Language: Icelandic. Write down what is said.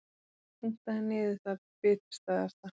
Punktaði niður það bitastæðasta.